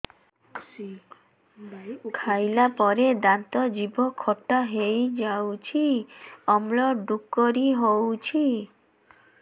ଖାଇଲା ପରେ ଦାନ୍ତ ଜିଭ ଖଟା ହେଇଯାଉଛି ଅମ୍ଳ ଡ଼ୁକରି ହଉଛି